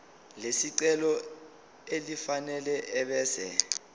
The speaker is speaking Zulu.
lesicelo elifanele ebese